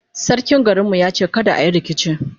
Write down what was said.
sarkin garin mu ya ce kada ayi rikici